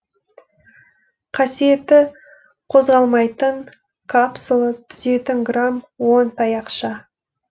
қасиеті қозғалмайтын капсула түзетін грамм оң таяқша